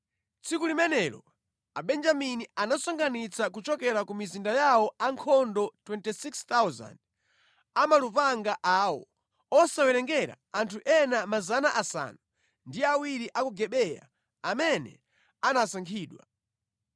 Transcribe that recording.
Tsiku limenelo Abenjamini anasonkhanitsa kuchokera ku mizinda yawo ankhondo 26,000 amalupanga awo, osawerengera anthu ena 700 a ku Gibeya amene anasankhidwa.